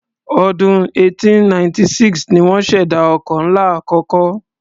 Ọdún 1896 ni wọ́n ṣèdá ọkọ̀ ńlá àkọ́kọ́.